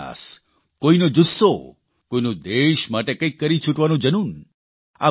કોઇનો પ્રયાસ કોઇનો જુસ્સો કોઇનું દેશ માટે કંઇક કરી છુટવાનું જનૂન